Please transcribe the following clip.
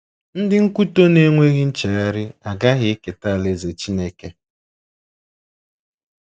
Ndị nkwutọ na-enweghị nchegharị agaghị eketa Alaeze Chineke.